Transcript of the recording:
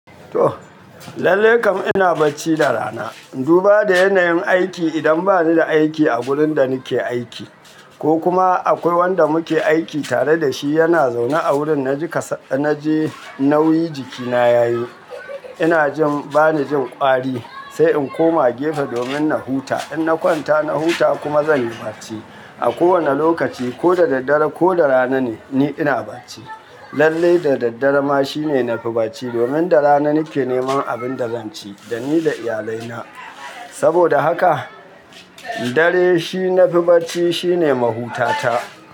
To, lallai kam ina bacci da rana. Duba da yanayin aiki idan bani da aiki a wurin da nake aiki ko kuma akwai wanda muke aiki tare da shi yana zaune a wurin, na ji kasa, na ji nauyi jikina yayi. Ina jin bani jin ƙwari sai in koma gefe domin na huta. In na kwanta na huta kuma zan yi bacci. A kowane lokaci ko da daddare ko da rana ne, ni ina bacci. Lallai da daddare ma shine na fi bacci domin da rana nake neman abin da zan ci da ni da iyalai na. Saboda haka dare shi nafi bacci shine mahutata.